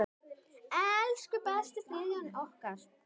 Elsku besti Friðjón okkar.